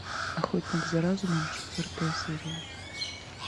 охотник за разумом четвертая серия